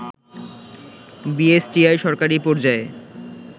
BSTI সরকারি পর্যায়ে